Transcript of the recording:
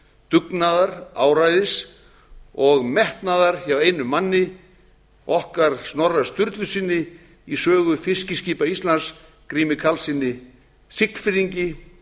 dugnaðar áræðis og metnaðar hjá einum manni okkar snorra sturlusyni í sögu fiskiskipa íslands gríms karlsson siglfirðings búsettur í